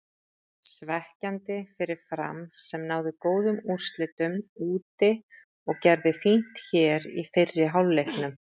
Svekkjandi fyrir Fram sem náði góðum úrslitum úti og gerði fínt hér í fyrri hálfleiknum.